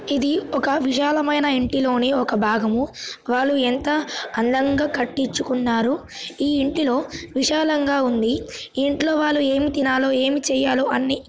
ఇది ఒక విశాలమైన ఇంటిలోని ఒక భాగము వాళ్లు ఎంత అందంగా కట్టించుకున్నారు ఈ ఇంటిలో విశాలంగా ఉంది. ఈ ఇంట్లోవాళ్ళు ఏమి తినాలో ఏమి చెయ్యాలో అన్నీ --